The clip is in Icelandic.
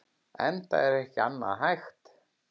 Enda ekki annað hægt.